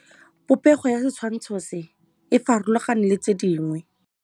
Popêgo ya setshwantshô se, e farologane le tse dingwe.